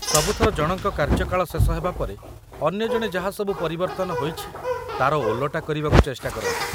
ସବୁଥର ଜଣଙ୍କର କାର୍ଯ୍ୟକାଳ ଶେଷ ହେବା ପରେ, ଅନ୍ୟ ଜଣେ ଯାହା ସବୁ ପରିବର୍ତ୍ତନ ହୋଇଛି ତା'ର ଓଲଟା କରିବାକୁ ଚେଷ୍ଟା କରନ୍ତି ।